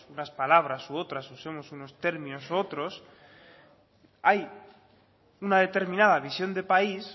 unas palabras u otras usemos unos términos u otros hay una determinada visión de país